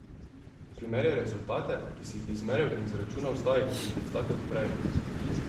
Primerjaj rezultate, ki si jih izmeril in izračunal zdaj, z rezultati od prej.